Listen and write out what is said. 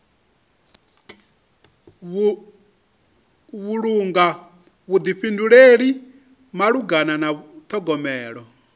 vhulunga vhuḓifhinduleli malugana na ṱhogomelo